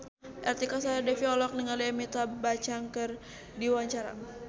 Artika Sari Devi olohok ningali Amitabh Bachchan keur diwawancara